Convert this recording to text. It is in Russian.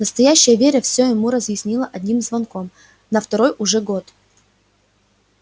настоящая вера всё ему разъяснила одним звонком на второй уже год